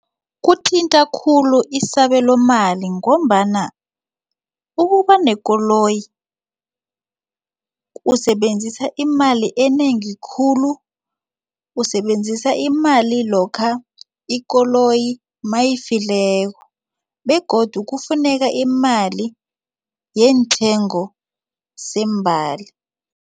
Kuthinta khulu isabelo mali ngombana ukuba nekoloyi usebenzisa imali enengi khulu usebenzisa imali lokha ikoloyi nayifikileko begodu kufuneka imali yeentengo zeembali.